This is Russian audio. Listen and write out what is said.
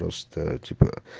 просто типа